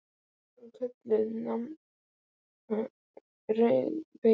Þar er hún kölluð Nanna rauða, veit ég.